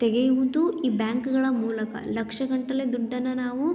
ತೆಗೆಯುವುದು ಈ ಬ್ಯಾಂಕ್ಗಳ ಮೂಲಕ ಲಕ್ಷ ಗಟ್ಟಲೆ ದುಡ್ಡನ್ನು ನಾವು --